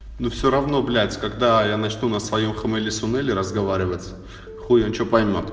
ну все равно блять когда я начну на своём хмели-сунели разговаривать хуй он что поймёт